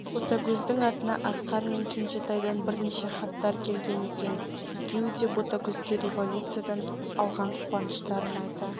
ботагөздің атына асқар мен кенжетайдан бірнеше хаттар келген екен екеуі де ботагөзге революциядан алған қуаныштарын айта